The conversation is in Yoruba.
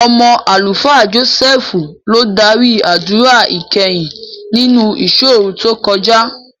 Ọmọ Àlùfáà Jọ́sẹ́ẹ́fù ló dárí àdúrà ìkẹyìn nínú ìṣọ́òru tó kọjá.